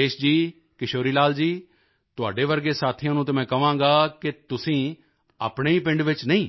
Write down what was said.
ਅਤੇ ਰਾਜੇਸ਼ ਜੀ ਕਿਸ਼ੋਰੀ ਲਾਲ ਜੀ ਤੁਹਾਡੇ ਵਰਗੇ ਸਾਥੀਆਂ ਨੂੰ ਤਾਂ ਮੈਂ ਕਹਾਂਗਾ ਕਿ ਕੀ ਤੁਸੀਂ ਆਪਣੇ ਹੀ ਪਿੰਡ ਵਿੱਚ ਨਹੀਂ